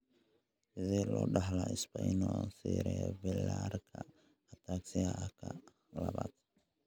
Sidee loo dhaxlaa spinocerebellarka ataxiaka labaad?